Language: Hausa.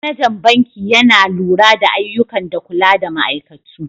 Managan banki Yana lura da ayyukan da kula da ma'aikatu.